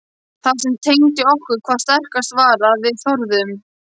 Það sem tengdi okkur hvað sterkast var að við þorðum.